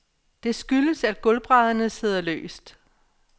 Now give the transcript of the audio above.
Det skyldes, at gulvbrædderne sidder løst.